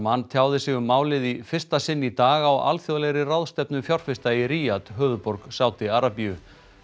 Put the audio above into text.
Salman tjáði sig um málið í fyrsta sinn í dag á alþjóðlegri ráðstefnu fjárfesta í Riyadh höfuðborg Sádi Arabíu